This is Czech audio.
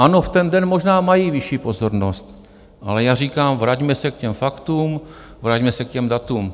Ano, v ten den možná mají vyšší pozornost, ale já říkám, vraťme se k těm faktům, vraťme se k těm datům.